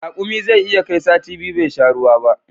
Rakumi zai iya kai sati biyu bai sha ruwa ba